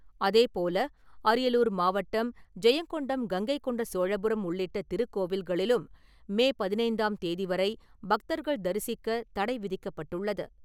அதேப்போல, அரியலூர் மாவட்டம், ஜெயங்கொண்டம் கங்கை கொண்ட சோழபுரம், உள்ளிட்ட திருக்கோவில்களிலும் மே பதினைந்தாம் தேதி வரை பக்தர்கள் தரிசிக்க தடை விதிக்கப்பட்டுள்ளது.